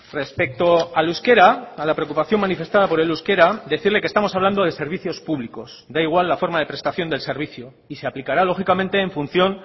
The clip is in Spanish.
respecto al euskera a la preocupación manifestada por el euskera decirle que estamos hablando de servicios públicos da igual la forma de prestación del servicio y se aplicará lógicamente en función